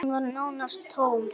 Hún var nánast tóm.